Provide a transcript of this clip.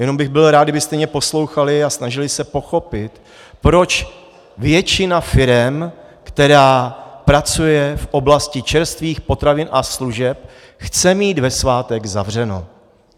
Jenom bych byl rád, kdybyste mě poslouchali a snažili se pochopit, proč většina firem, která pracuje v oblasti čerstvých potravin a služeb, chce mít ve svátek zavřeno.